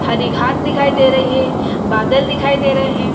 हरी घास दिखाई दे रही है बादल दिखाई दे रहे है।